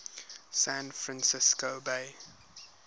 san francisco bay